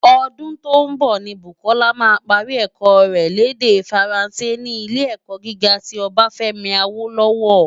Ódún tó nbò ni Bukola má pári èkò rè l' èdè Fáránsé ni Ilé-èkò gigá ti Obafemi Awolowo.